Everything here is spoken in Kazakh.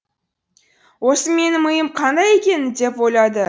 осы менің миым қандай екен деп ойлады